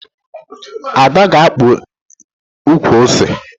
Ada ga-akpa ukwu ose